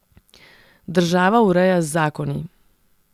Država ureja z zakoni.